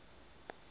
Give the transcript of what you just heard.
do not trust